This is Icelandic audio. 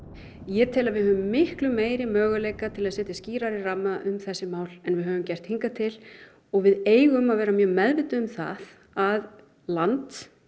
ég tel að við höfum miklu meiri möguleika til að setja skýrari ramma um þessi mál en við höfum gert hingað til og við eigum að vera mjög meðvituð um það að land